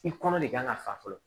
I kɔnɔ de kan ka fa fɔlɔ